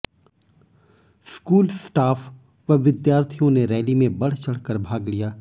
school staff व विद्यार्थियों ने रैली में बढ़चढ़ कर भाग लिया